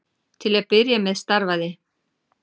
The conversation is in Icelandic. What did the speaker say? Til að byrja með starfaði